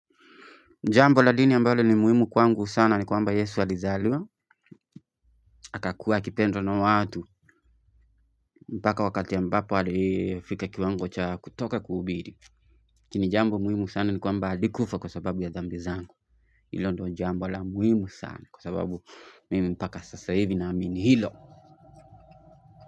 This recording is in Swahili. Jambo la dini ambalo ni muhimu kwangu sana ni kwamba Yesu alizaliwa akakuwa akipendwa na watu mpaka wakati ambapo alifika kiwango cha kutoka kuhubiri lakini jambo muhimu sana ni kwamba alikufa kwa sababu ya dhambi zangu hilo ndo jambo la muhimu sana kwa sababu mimi mpaka sasa hivi naamini hilo.